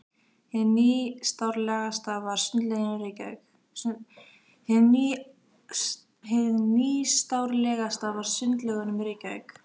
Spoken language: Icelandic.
Hið nýstárlegasta var í Sundlaugunum í Reykjavík.